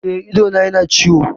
Eh, idona yana ciwo